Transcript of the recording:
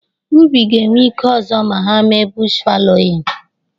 Ubi ga-ewete ike ọzọ ma hà mee bush fallowing.